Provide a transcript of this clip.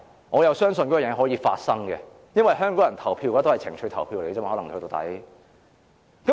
我相信這事會發生，因為香港人投票終究會以情緒投票。